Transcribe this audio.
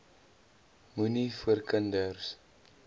moenie voor kinders